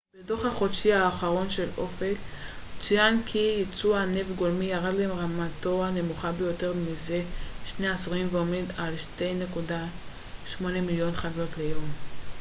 בדו ח החודשי האחרון של אופ ק צוין כי ייצוא הנפט גולמי ירד לרמתו הנמוכה ביותר מזה שני עשורים ועומד על 2.8 מיליון חביות ליום